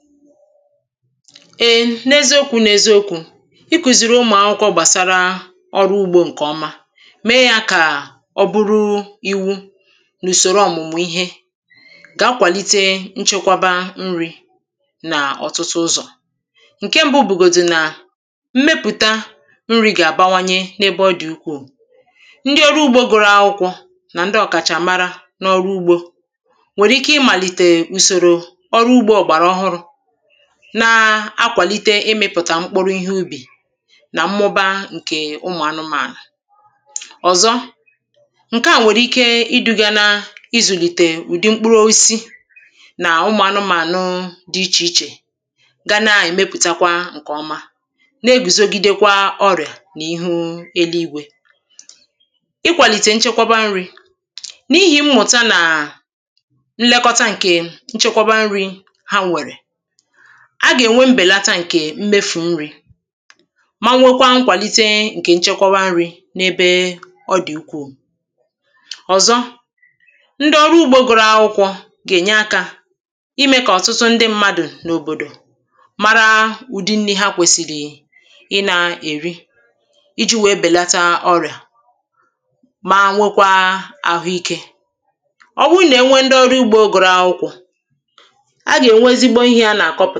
ee n’eziokū n’ēziōkù ikūzīrī ụmụ̀ akwụkwọ̄ gbàsara ọrụ ugbō ǹkè ọma mee yā kà ọ bụrụ īwū n’ùsòro ọ̀mụ̀mụ̀ ihe gà-akwàlite nchekwaba nrī n’ọ̀tụtụ ụzọ̀ ǹke m̄bụ̄ bụ̀gòdì nà mmepụ̀ta nrī gà-àbanwanye n‘ebe ọ dị̀ ukwuù ndị ọrụ ugbō gụrụ akwụkwọ̄ nà ndị ọ̀kàchàmara n’ọrụ ugbō nwèrè ike màlitè ùsòrò ọrụ ugbō ọ̀gbàrà ọhụrụ̄ na-akwàlite ịmụ̄pụ̀tà mkpụrụ ihe ubì nà mmụba ǹkè ụmụ̀ anụmaànà ọ̀zọ ǹke à nwèrè ike idū̄ghē nā izùlìtè ụ̀dị mkpụrụ osisi nà ụmụ̀ anụmànụ dị ichè ichè ga na-èmepùtakwaa ǹkè ọma na-egwùzogidekwa ọrịà n’ihu eligwē ikwalìtè nchekwaba nrī n’ihì mmùta nà nlekọta ǹkè nchekwaba nrī ha nwèrè a gà-ènwe mbèlata ǹkè mmefù nrī ma nwekwa nkwàlite ǹkè nchekwaba nrī n’ebe ọ dị̀ ukwuù ọ̀zọ ndị ọrụ ugbō gụrụ akwụkwọ̄ gà-ènye akā imē kà ọ̀tụtụ ndị mmadụ̀ n’òbòdò mara ụ̀dị nnī ha kwèsìrì ị nā-èri ijī nwèe bèlata ọrịà ma nwekwa àhụ ikē ọ bụrụ nà ha nwe ndị ọrụ ugbō gụrụ akwụkwọ̄ ha gà-eǹwe ezigbo ihē ha nà-àkọpụ̀